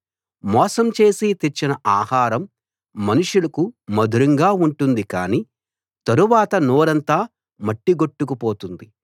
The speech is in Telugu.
మోసం చేసి తెచ్చిన ఆహారం మనుషులకు మధురంగా ఉంటుంది కానీ తరువాత నోరంతా మట్టిగొట్టుకు పోతుంది